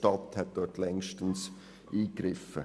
Dort hätte die Stadt längst eingegriffen.